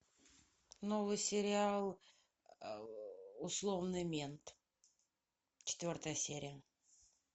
новый сериал условный мент четвертая серия